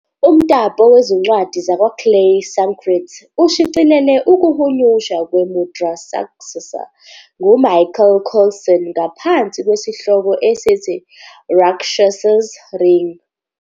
Umtapo Wezincwadi "WakwaClay" Sanskrit ushicilele ukuhunyushwa kweMudrārākṣasa nguMichael Coulson ngaphansi kwesihloko esithi "Rákshasa's Ring".